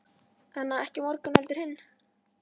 Ekki á morgun heldur hinn.